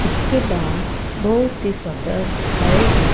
इसके बाद बहुत ही सुंदर हरे भरे--